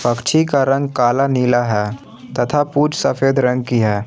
पक्षी का रंग काला नीला है तथा पूछ सफेद रंग की है।